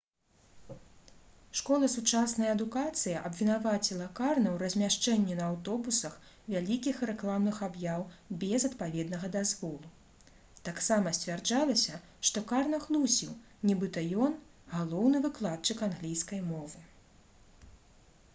школа «сучасная адукацыя» абвінаваціла карна ў размяшчэнні на аўтобусах вялікіх рэкламных аб'яў без адпаведнага дазволу. таксама сцвярджалася што карна хлусіў нібыта ён — галоўны выкладчык англійскай мовы